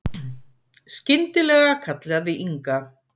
Skyndilega kallaði Inga